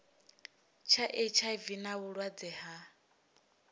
tsha hiv na vhulwadze ha